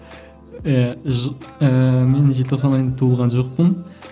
ііі ііі мен желтоқсан айында туылған жоқпын